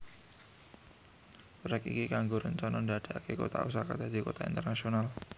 Proyek iki kanggo rencana dadeake kota Osaka dadi kota internasional